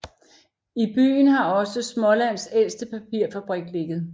I byen har også Smålands ældste papirfabrik ligget